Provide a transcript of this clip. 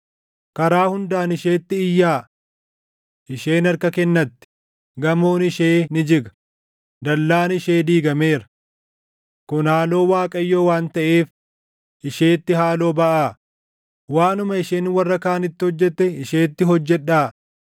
Karaa hundaan isheetti iyyaa! Isheen harka kennatti; gamoon ishee ni jiga; dallaan ishee diigameera. Kun haaloo Waaqayyoo waan taʼeef isheetti haaloo baʼaa; waanuma isheen warra kaanitti hojjette isheetti hojjedhaa.